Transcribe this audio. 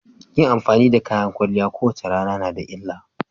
Yin amfani da kayan kwalliya a kowace rana na da illa.